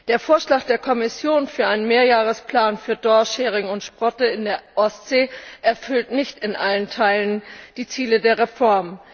Der Vorschlag der Kommission für einen Mehrjahresplan für Dorsch, Hering und Sprotte in der Ostsee erfüllt nicht in allen Teilen die Ziele der Reform.